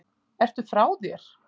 Ertu frá þér!